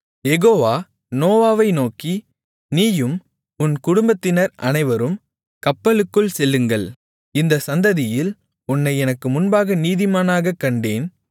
யெகோவா நோவாவை நோக்கி நீயும் உன் குடும்பத்தினர் அனைவரும் கப்பலுக்குள் செல்லுங்கள் இந்தச் சந்ததியில் உன்னை எனக்கு முன்பாக நீதிமானாகக் கண்டேன்